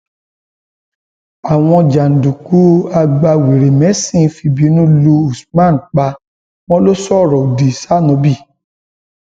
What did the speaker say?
àwọn jàǹdùkú agbawèrèmẹsìn fìbínú lu usman pa wọn lọ sọrọ odi sanóbì